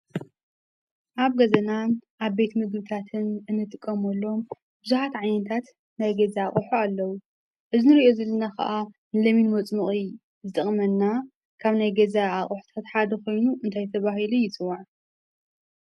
አብ ገዛናን አብ ቤት ምግብታትን እንጥቀመሎም ብዙሓት ዓይነታት ናይ ገዛ አቑሑ አለው። እዚ ንሪኦ ዘለና ኸዓ ሎሚን መፅሞቒ ዝጠቕመና ካብ ናይ ገዛ አቑሑታት ሓደ ኾይኑ እንታይ ተባሂሉ ይፅዋዕ?